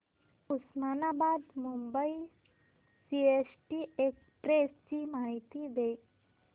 Osmanabad Mumbai CST express ची माहिती दे